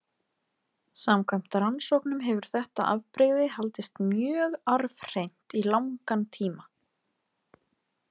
Samkvæmt rannsóknum hefur þetta afbrigði haldist mjög arfhreint í langan tíma.